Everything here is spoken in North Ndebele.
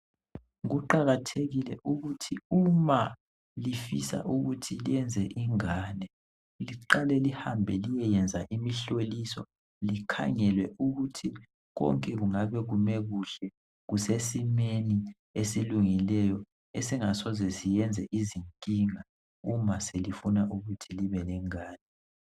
Kuqakathekile ukuthi uma lifisa ukuthi lenze ingane liqale lihambe liyeyenza imihloliso likhangelwe ukuthi konke kungabe kume kuhle kusesimeni esilungileyo esingasoze siyenze izinkinga, uma selifuna ukuthi libe lengane.